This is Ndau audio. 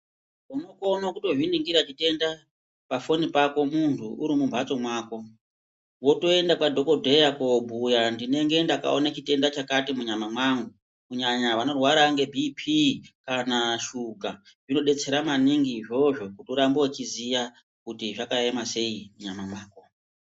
Unokona kutozvi ningira chitenda pa foni pako muntu uri mu mhatso mako wotoenda kwa dhokodheya ko bhuya ndinenge ndakaona chitenda chakati mu nyama mangu kunyanya vano rwara ne BP kana shuga zvino detsera maningi izvozvo kuti urambe uchiziya kuti zvaka ema sei mu nyama mako.